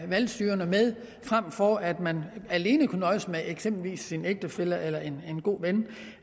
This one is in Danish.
valgstyrer med frem for at man alene kunne nøjes med eksempelvis sin ægtefælle eller en god ven